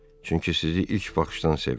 Çünki sizi ilk baxışdan sevdim.